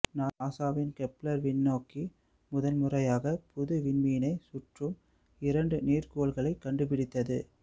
நாசாவின் கெப்ளர் விண்ணோக்கி முதன்முறையாக புது விண்மீனைச் சுற்றும் இரண்டு நீர்க்கோள்களைக் கண்டுபிடித்தது